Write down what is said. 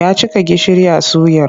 Ya cika gishiri a suyar.